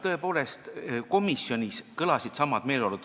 Tõepoolest, komisjonis olid samad meeleolud.